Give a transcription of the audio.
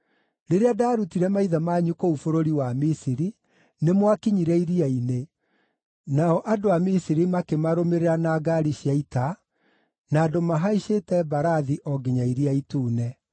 Rĩrĩa ndaarutire maithe manyu kũu bũrũri wa Misiri, nĩmwakinyire iria-inĩ, nao andũ a Misiri makĩmarũmĩrĩra na ngaari cia ita, na andũ mahaicĩte mbarathi o nginya Iria Itune.